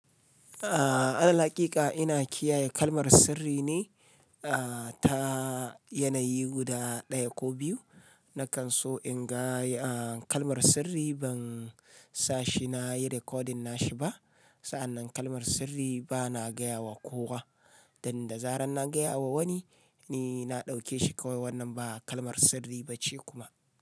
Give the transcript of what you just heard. A'a, alhakiƙa ina kiyaye kalmar sirri ne ta yanayi guda ɗaya ko biyu. Nakan so in ga kalmar sirri ban sashi na yi recording nashi ba. Sa'annan kalmar sirri bana gaya wa kowa. Dan da zaran na gaya wa wani, ni na ɗauke shi kawai wannan ba kalmar sirri ba ce kuma.